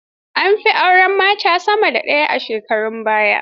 An fi auren mata sama da ɗaya a shekarun baya.